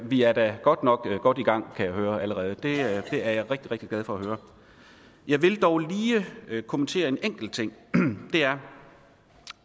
vi er da godt nok godt i gang allerede kan jeg det er jeg rigtig rigtig glad for at høre jeg vil dog lige kommentere en enkelt ting det er